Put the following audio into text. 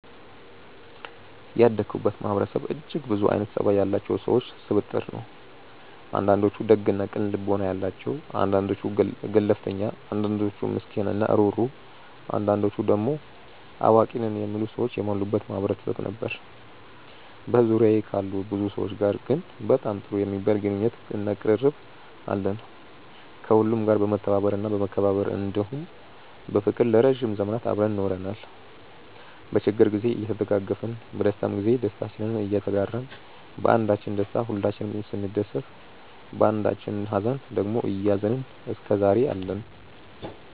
ያደኩበት ማህበረሰብ እጅግ ብዙ አይነት ፀባይ ያላቸው ሰዎች ስብጥር ነው። አንዳንዶቹ ደግ እና ቅን ልቦና ያላቸው አንዳንዶቹ ገለፍተኛ አንዳንዶቹ ምስኪን እና ሩህሩህ አንዳንዶቹ ደሞ አዋቂ ነን የሚሉ ሰዎች የሞሉበት ማህበረሰብ ነበር። በዙሪያዬ ካሉ ብዙ ሰዎች ጋር ግን በጣም ጥሩ የሚባል ግንኙነት እና ቅርርብ አለን። ከሁሉም ጋር በመተባበር እና በመከባበር እንዲሁም በፍቅር ለረዥም ዘመናት አብረን ኖረናል። በችግር ግዜ እየተደጋገፍን በደስታም ግዜ ደስታችንን እየተጋራን ባንዳችን ደስታ ሁላችንም ስንደሰት ባንዳችኝ ሃዘን ደግሞ እያዘንን እስከዛሬ አለን።